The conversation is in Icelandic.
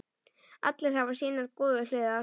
Allir hafa sínar góðu hliðar.